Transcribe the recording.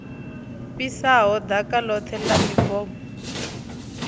fhisaho ḓaka ḽoṱhe ḽa mibomo